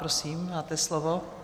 Prosím, máte slovo.